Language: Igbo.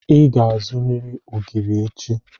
Ị ga-azụrịrị ogiri echi.